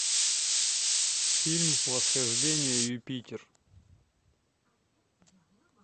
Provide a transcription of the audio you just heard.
фильм восхождение юпитер